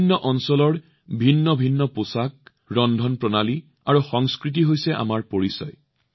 বিভিন্ন অঞ্চলত বিভিন্ন পোছাক খাদ্যভাস আৰু সংস্কৃতি এয়া হৈছে আমাৰ পৰিচয়